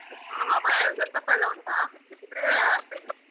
ಹ. ಹ ಮತ್ತೆ dress up ಎಲ್ಲ ಉಂಟಾ. ಇದ್ರೆ ಹೇಳು, ಬರ್ತೇನೆ.